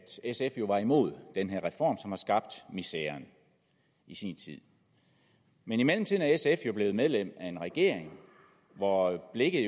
sf jo var imod den her reform som har skabt miseren i sin tid men i mellemtiden er sf jo blevet medlem af en regering hvor blikket